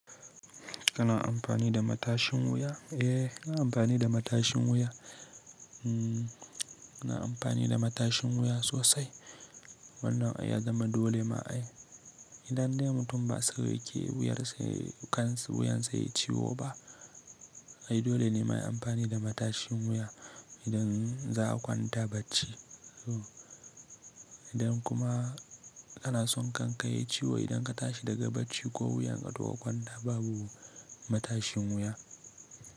Kana amfani da matashin wuya? Eh, ina amfani da matashin wuya. Ina amfani da matashin wuya sosai. Wannan ya zama dole ma ai. Idan dai mutum ba sai keyar sa kan sa wuyan sa yayi ciwo ba, ai dole ne muyi amfani da matashin wuya idan za a kwanta bacci. Idan kuma kana son kankaye ciwo, idan ka tashi daga bacci ko wuyan ka duk a kwanta babu matashin wuya.